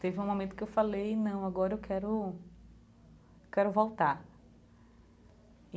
Teve um momento que eu falei, não, agora eu quero... quero voltar e.